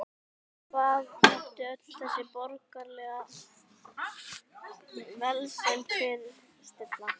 Hvað átti öll þessi borgaralega velsæld að fyrirstilla?